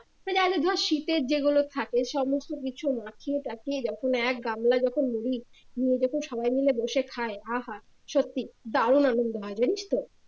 মানে আগে ধর শীতের যেগুলো থাকে সমস্ত কিছু মাখিয়ে টাখিয়ে যখন এক গামলা যখন মুড়ি নিয়ে যেতো সবাই মিলে বসে খায় আহা সত্যি দারুন আনন্দ হয় জানিস তো